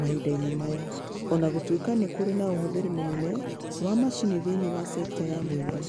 mahinda-inĩ maya o na gũtuĩka nĩ kũrĩ na ũhũthĩri mũnene wa macini thĩinĩ wa sekta ya mũingĩ.